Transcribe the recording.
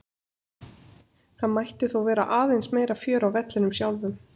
Það mætti þó vera aðeins meira fjör á vellinum sjálfum.